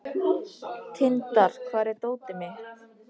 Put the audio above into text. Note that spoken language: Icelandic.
Tindar, hvar er dótið mitt?